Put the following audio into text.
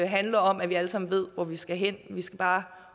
handler om at vi alle sammen ved hvor vi skal hen vi skal bare